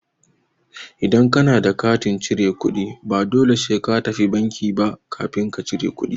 Idan ka na da katin cire kuɗi, ba dole sai ka tafi banki ba kafin ka cire kuɗi.